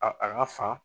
A a a ka fa